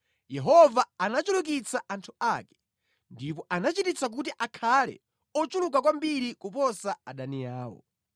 Yehova anachulukitsa anthu ake; ndipo anachititsa kuti akhale ochuluka kwambiri kuposa adani awo;